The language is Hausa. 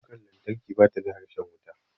Kukar lantarki bata da harshen wuta.